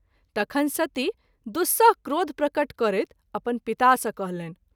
तखन सती दुस्सह क्रोध प्रकट करैत अपन पिता सँ कहलनि।